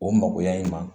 O magoya in ma